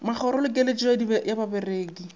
magoro le keletšo ya bareki